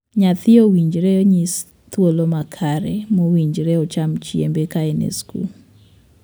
Nyathi owinjore nyisi thuolo makare mowinjore ocham chiembe ka en e skul.